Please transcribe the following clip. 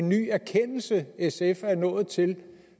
ny erkendelse sf er nået til